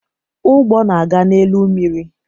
Ụgbọ na aga n'elu mmiri